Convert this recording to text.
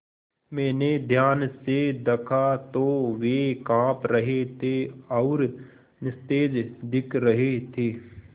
मैंने ध्यान से दखा तो वे काँप रहे थे और निस्तेज दिख रहे थे